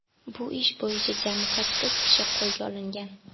Bu ish bo‘yicha jami sakkiz kishi qo‘lga olingan.